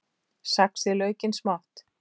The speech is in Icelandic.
Saxið laukinn smátt.